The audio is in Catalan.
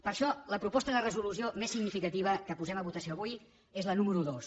per això la proposta de resolució més significativa que posem a votació avui és la número dos